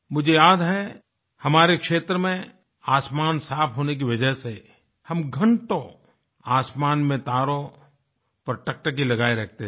मुझे याद है हमारे क्षेत्र में आसमान साफ़ होने की वजह से हम घंटों आसमान में तारों पर टकटकी लगाये रखते थे